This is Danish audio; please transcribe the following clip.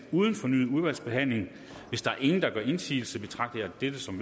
uden fornyet udvalgsbehandling hvis ingen gør indsigelse betragter jeg dette som